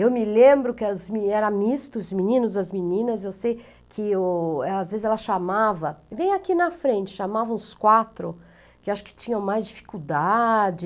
Eu me lembro que era misto, os meninos, as meninas, eu sei que às vezes ela chamava, vem aqui na frente, chamava uns quatro, que acho que tinham mais dificuldade,